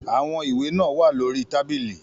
Àwọn ìwé náà wà lórí tábìlì.